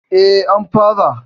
E, an fara.